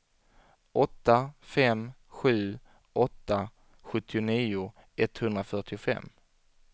åtta fem sju åtta sjuttionio etthundrafyrtiofem